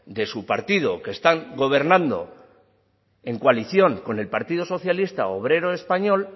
de su partido que está gobernando en coalición con el partido socialista obrero español